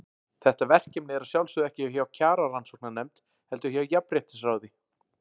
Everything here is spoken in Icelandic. Þetta verkefni er að sjálfsögðu ekki hjá Kjararannsóknarnefnd, heldur hjá Jafnréttisráði.